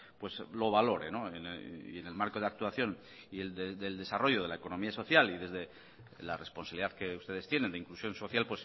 pues lo valore y en el marco de actuación y del desarrollo de la economía social y desde la responsabilidad que ustedes tienen de inclusión social